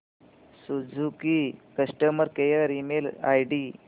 Suzuki customer care email ID